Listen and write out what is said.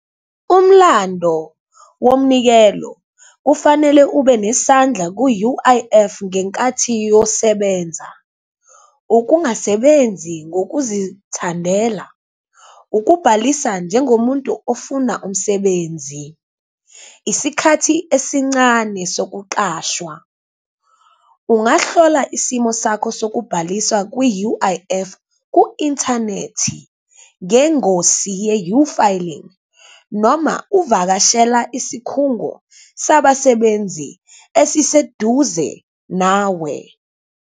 Umlando womnikelo ofanele ube nesandla ku-U_I_F ngenkathi uyosebenza, ukungasebenzi ngokuzithandela, ukubhalisa njengomuntu ofuna umsebenzi, isikhathi esincane sokuqashwa. Ungahlola isimo sakho sokubhaliswa kwi-U_I_F ku-inthanethi ngengosi ye-uFiling, noma uvakashela isikhungo sabasebenzi esiseduze nawe.